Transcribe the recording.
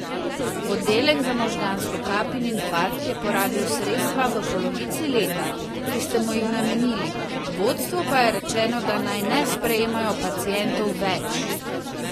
Oddelek za možgansko kap in infarkt je porabil sredstva v polovici leta, ki ste mu jih namenili, vodstvu pa je rečeno, da naj ne sprejemajo pacientov več!